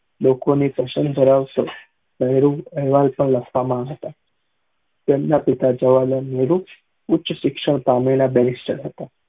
લોકો ની કોશલ ધર્વાસે નેહરુ એહવાલ પણ હતા તેમના પિતા જવાર્હાલાલ નેહરુ ઉચ્ચ શિક્ષણ પામેલા બરીસ્ત્ર હતા